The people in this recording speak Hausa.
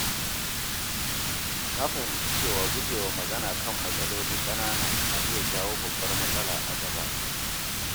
Na fahimci cewa guje wa magana kan matsaloli ƙanana na iya jawo babbar matsala a gaba.